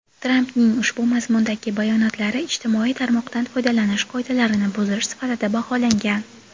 Trampning ushbu mazmundagi bayonotlari ijtimoiy tarmoqdan foydalanish qoidalarini buzish sifatida baholangan.